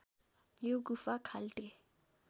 यो गुफा खाल्टे